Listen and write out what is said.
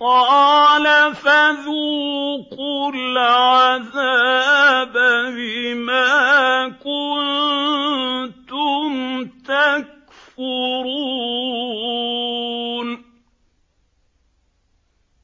قَالَ فَذُوقُوا الْعَذَابَ بِمَا كُنتُمْ تَكْفُرُونَ